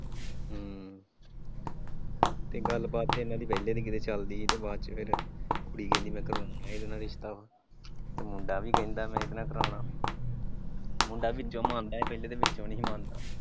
ਹਮ ਤੇ ਗੱਲਬਾਤ ਤੇ ਇਹਨਾਂ ਦੀ ਪਹਿਲੇ ਦੀ ਕਿਤੇ ਚੱਲਦੀ ਸੀ ਬਾਅਦ ਚ ਫਿਰ ਕੁੜੀ ਕਹਿੰਦੀ ਮੈਂ ਕਰੂੰ ਇਹਦੇ ਨਾਲ ਰਿਸ਼ਤਾ ਤੇ ਮੁੰਡਾ ਵੀ ਕਹਿੰਦਾ ਮੈਂ ਇਹਦੇ ਨਾਲ ਕਰਾਉਣਾ ਵਾਂ ਮੁੰਡਾ ਵੀ ਮੰਨਿਆ ਪਹਿਲੇ ਵਿਚੋ ਨਈਂ ਸੀ ਮੰਨਦਾ।